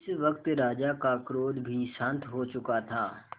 इस वक्त राजा का क्रोध भी शांत हो चुका था